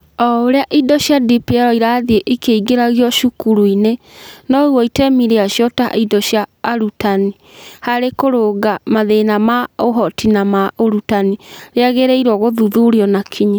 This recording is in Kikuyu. O ũrĩa indo cia DPL irathiĩ ikĩingĩragia cukuru-inĩ, noguo itemi rĩacio ta indo cia arutani harĩ kũrũnga mathĩna ma ũhoti na ma ũrutani rĩagĩrĩirũo gũthuthurio na kinyi.